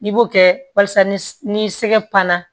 I b'o kɛ walasa ni sɛgɛla